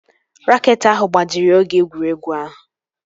Raket ahụ gbajiri oge egwuregwu ahụ